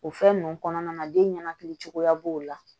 O fɛn nunnu kɔnɔna na den ɲɛnakili cogoya b'o la